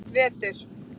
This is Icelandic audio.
vetur